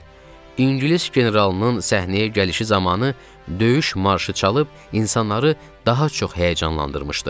ingilis generalının səhnəyə gəlişi zamanı döyüş marşı çalıb insanları daha çox həyəcanlandırmışdı.